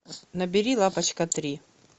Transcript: набери лапочка три